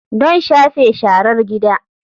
Don shafe sharar gida.